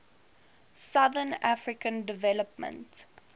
southern african development